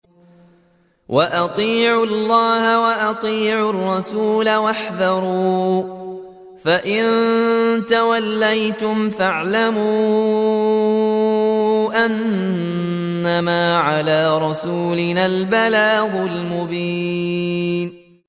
وَأَطِيعُوا اللَّهَ وَأَطِيعُوا الرَّسُولَ وَاحْذَرُوا ۚ فَإِن تَوَلَّيْتُمْ فَاعْلَمُوا أَنَّمَا عَلَىٰ رَسُولِنَا الْبَلَاغُ الْمُبِينُ